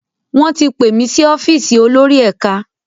Wón tí pé mí sí ọ́fíìsì olórí ẹka.